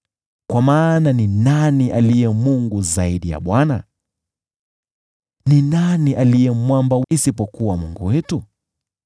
Kwa maana ni nani aliye Mungu zaidi ya Bwana ? Ni nani aliye Mwamba isipokuwa Mungu wetu?